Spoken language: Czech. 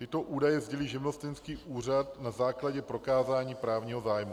Tyto údaje sdělí živnostenský úřad na základě prokázání právního zájmu.